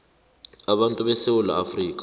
abantu besewula afrika